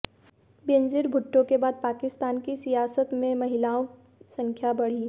बेनजीर भुट्टो के बाद पाकिस्तान की सियासत में महिलाओं संख्या बढ़ी